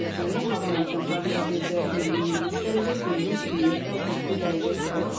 Havanın temperaturu gecə 20-23 dərəcə, gündüz 27-32 dərəcə isti olacaq.